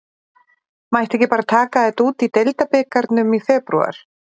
Mætti ekki bara taka þetta út í deildarbikarnum í febrúar?